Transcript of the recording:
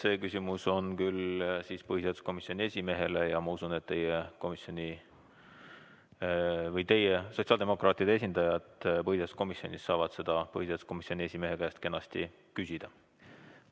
See küsimus on küll põhiseaduskomisjoni esimehele ja ma usun, et sotsiaaldemokraatide esindajad saavad põhiseaduskomisjonis seda põhiseaduskomisjoni esimehe käest kenasti küsida.